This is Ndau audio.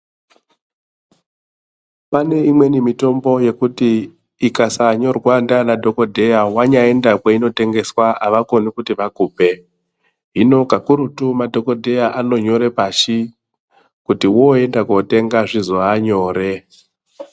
Pane imweni mitombo yekuti ikasanyorwa ndiana dhokoteya wanyaenda kwainotengeswa havakoni kuti vakupe. Hino kakurutu madhokodheya anonyore pashi kuti woenda kotenga zvizova nyore.